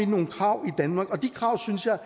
nogle krav i danmark og de krav synes jeg